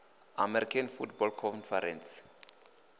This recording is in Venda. american football conference